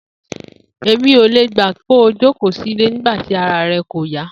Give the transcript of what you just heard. Èmi ò lè gbà pé kó o jókòó sílé nigba tí ara re̩ kò yá